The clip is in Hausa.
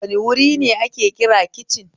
Wane wuri ne ake kira kicin?